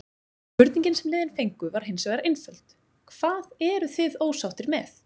Spurningin sem liðin fengu var hinsvegar einföld: Hvað eruð þið ósáttir með?